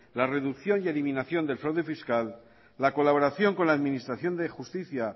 la reducción y eliminación del fraude fiscal la colaboración con la administración de justicia